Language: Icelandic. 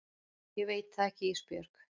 Ég veit það ekki Ísbjörg.